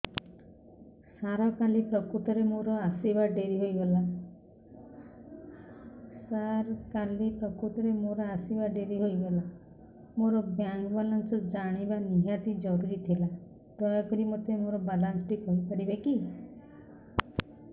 ସାର କାଲି ପ୍ରକୃତରେ ମୋର ଆସିବା ଡେରି ହେଇଗଲା ମୋର ବ୍ୟାଙ୍କ ବାଲାନ୍ସ ଜାଣିବା ନିହାତି ଜରୁରୀ ଥିଲା ଦୟାକରି ମୋତେ ମୋର ବାଲାନ୍ସ ଟି କହିପାରିବେକି